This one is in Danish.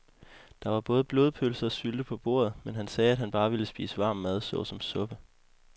Der var både blodpølse og sylte på bordet, men han sagde, at han bare ville spise varm mad såsom suppe.